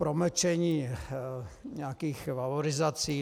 Promlčení nějakých valorizací.